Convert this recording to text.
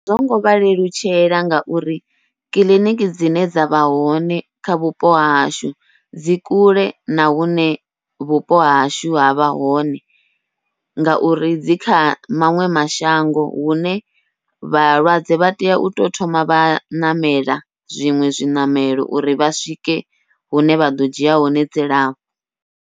A zwongo vha lelutshela ngauri kiḽiniki dzine dza vha hone kha vhupo hahashu dzi kule na hune vhupo hahashu havha hone, ngauri dzi kha maṅwe mashango hune vhalwadze vha tea uto thoma vha ṋamela zwiṅwe zwiṋamelo uri vha swike hune vha ḓo dzhia hone dzilafho.